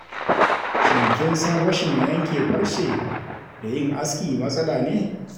Shin kin san rashin yanke farce da yin aski matsala ne?